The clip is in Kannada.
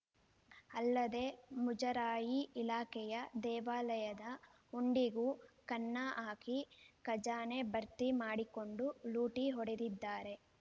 ಅಲ್ಲದೆ ಮುಜರಾಯಿ ಇಲಾಖೆಯ ದೇವಾಲಯದ ಹುಂಡಿಗೂ ಕನ್ನ ಹಾಕಿ ಖಜಾನೆ ಭರ್ತಿ ಮಾಡಿಕೊಂಡು ಲೂಟಿ ಹೊಡೆದಿದ್ದಾರೆ